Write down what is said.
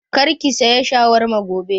Kar ki saya shawarma gobe!